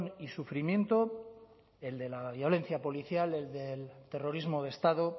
y sufrimiento el de la violencia policial el del terrorismo de estado